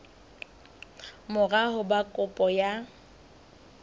mora ho ba kopo ya